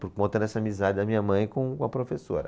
Por conta dessa amizade da minha mãe com, com a professora.